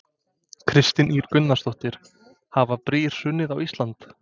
Kristín Ýr Gunnarsdóttir: Hafa brýr hrunið á Íslandi?